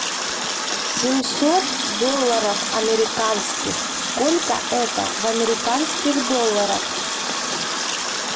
семьсот долларов американских сколько это в американских долларах